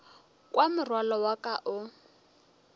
kwa morwalo wa ka o